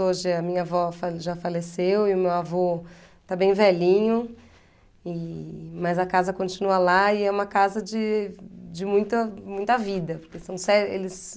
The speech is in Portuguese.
Hoje a minha avó fale já faleceu e o meu avô está bem velhinho, e, mas a casa continua lá e é uma casa de de muita muita vida. Porque são só eles,